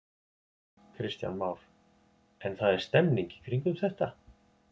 Kristján Már: En það er stemning í kringum þetta?